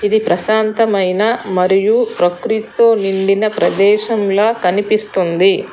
ఇది ప్రశాంతమైన మరియు ప్రకృతితో నిండిన ప్రదేశంల కనిపిస్తుంది.